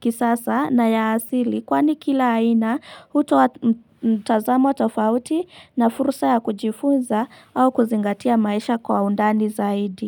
kisasa na ya asili kwani kila aina hutoa mtazamo wa tofauti na fursa ya kujifunza au kuzingatia maisha kwa undani zaidi.